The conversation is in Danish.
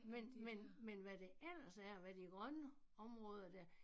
Men men men hvad det ellers er og hvad de grønne områder dér